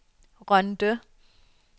Rønde